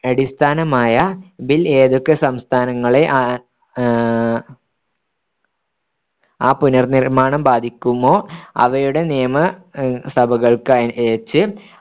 അടിസ്ഥാനമായ bill ഏതൊക്കെ സംസ്ഥാനങ്ങളെ ആ ആഹ് ആ പുനർനിർ‌മ്മാണം ബാധിക്കുമോ അവയുടെ നിയമ സഭകൾക്കയച്ച്